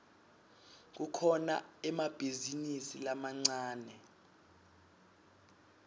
kukhona emabhizinisi lamancane